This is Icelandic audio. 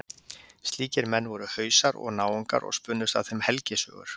Slíkir menn voru Hausar og Náungar og spunnust af þeim helgisögur.